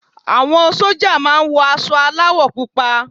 Àwọn sójà máa wọ aṣọ aláwọ̀ púpọ̀